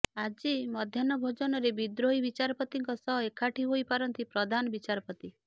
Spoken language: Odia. ଆଜି ମଧ୍ୟାହ୍ନଭୋଜନରେ ବିଦ୍ରୋହୀ ବିଚାରପତିଙ୍କ ସହ ଏକାଠି ହୋଇପାରନ୍ତି ପ୍ରଧାନ ବିଚାରପତି